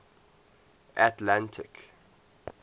atlantic